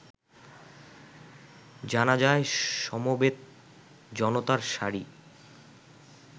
জানাজায় সমবেত জনতার সারি